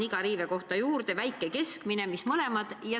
Iga riivekoha juurde oli märgitud kas väike või keskmine.